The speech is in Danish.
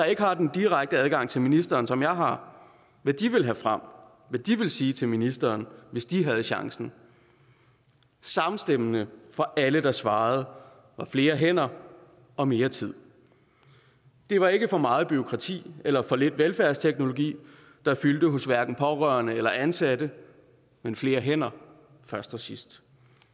ikke har den direkte adgang til ministeren som jeg har om hvad de ville sige til ministeren hvis de havde chancen samstemmende for alle der svarede var flere hænder og mere tid det var ikke for meget bureaukrati eller for lidt velfærdsteknologi der fyldte hos hverken pårørende eller ansatte men flere hænder først og sidst